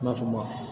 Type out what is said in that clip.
I n'a fɔ maa